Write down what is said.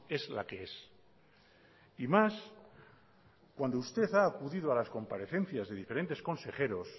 es la que es y más cuando usted ha acudido a las comparecencias de diferentes consejeros